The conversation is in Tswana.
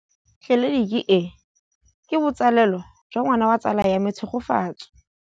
Tleliniki e, ke botsalêlô jwa ngwana wa tsala ya me Tshegofatso.